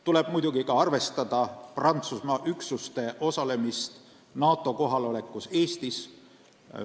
Tuleb muidugi ka arvestada Prantsusmaa üksuste panust NATO kohalolekusse Eestis.